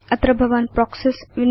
अत्र भवान् प्रोक्सीज़